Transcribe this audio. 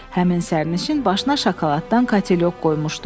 Həmin sərnişin başına şokoladdan katelyok qoymuşdu.